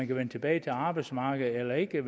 kan vende tilbage til arbejdsmarkedet eller ikke